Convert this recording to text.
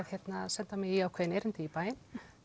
senda mig í ákveðið erindi í bæinn